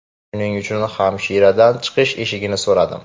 Shuning uchun hamshiradan chiqish eshigini so‘radim.